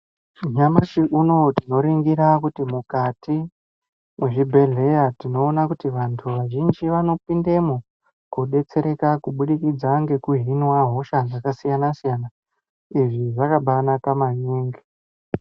Nyamashi unowu tinoringira kuti mukati mwezvi bhedhleya, tinoona kuti vantu vazhinji vanopindemwo kobetsereka kubudikidza nekuhinwa hosha dzakasiyana siyana. Izvi zvakabanaka maningi.